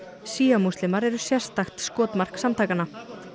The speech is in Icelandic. shía múslimar eru sérstakt skotmark samtakanna